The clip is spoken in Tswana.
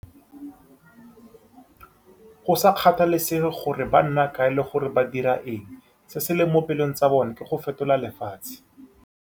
Go sa kgathalesege gore ba nna kae le gore ba dira eng, se se mo pelong tsa bona ke go fetola lefatshe.